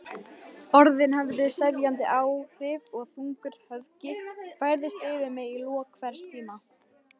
Orðin höfðu sefjandi áhrif og þungur höfgi færðist yfir mig í lok hvers tíma.